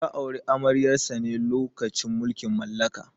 Ya auri amaryar sa ne lokacin mulkin mallaka.